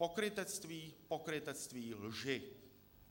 Pokrytectví, pokrytectví, lži.